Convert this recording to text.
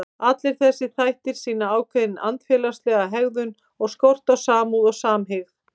Allir þessir þættir sýna ákveðna andfélagslega hegðun og skort á samúð og samhygð.